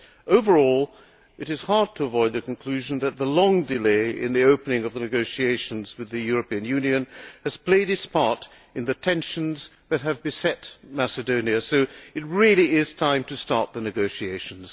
Overall it is hard to avoid the conclusion that the long delay in the opening of the negotiations with the European Union has played its part in the tensions that have beset Macedonia, so it really is time to start the negotiations.